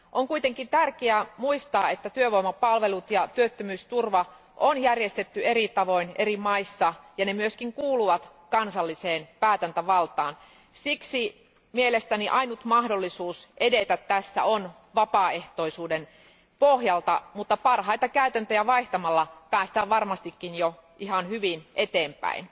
On kuitenkin tärkeää muistaa, että työvoimapalvelut ja työttömyysturva on järjestetty eri tavoin eri maissa, ja ne myös kuuluvat kansalliseen päätäntävaltaan. Siksi mielestäni ainoa mahdollisuus edetä tässä on vapaaehtoisuuden pohjalta, mutta parhaita käytäntöjä vaihtamalla päästään varmastikin jo ihan hyvin eteenpäin.